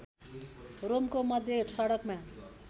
रोमको मध्य सडकमा